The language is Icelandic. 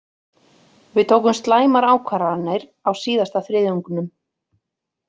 Við tókum slæmar ákvarðanir á síðasta þriðjungnum.